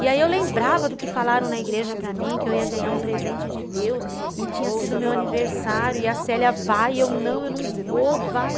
E aí eu lembrava do que falaram na igreja para mim, que eu ia ganhar um presente de Deus e tinha sido meu aniversário e a Célia vai, eu não, eu não vou, vai.